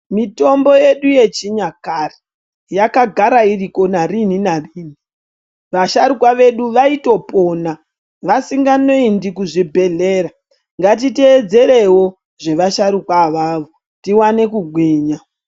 Mitombo yedu yechinyakare yakagara iriko narini narini vasharukwa vedu vaitopona asinganoendi kuzvibhehlera ngatitedzerowo zvevasharuka avavo tiwane kugwinya.